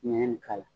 Ɲɛɲɛ nin k'a la